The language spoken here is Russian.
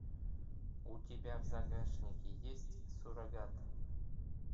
у тебя в загашнике есть суррогат